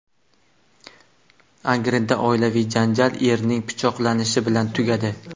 Angrenda oilaviy janjal erning pichoqlanishi bilan tugadi.